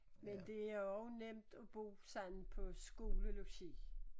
Men det er også nemt at bo sådan på skolelogi